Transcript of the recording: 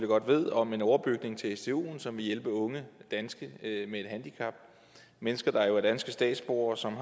godt ved om en overbygning til stuen som vil hjælpe unge danskere med et handicap mennesker der jo er danske statsborgere og som